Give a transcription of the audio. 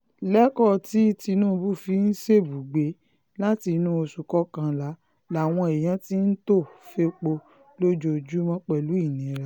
lẹ́kọ̀ọ́ tí tinubu fi ṣèbúgbè látinú oṣù kọkànlá làwọn èèyàn ti ń tò fẹ́pọ̀ lójoojúmọ́ pẹ̀lú ìnira